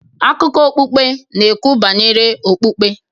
Akụkọ okpukpe n'ekwu banyere okpukpe